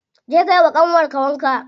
Je ka yiwa ƙanwar ka wanka.